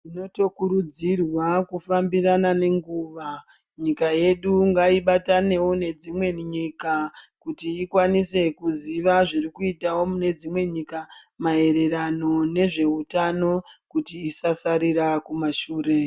Tinotokurudzirwa kufambirana nenguwa. Nyika yedu ngaibatanewo nedzimwe nyika kuti ikwanise kuziva zviri kuitawo mune dzimwe nyika maererano nezveutano kuti isasarira kumashure.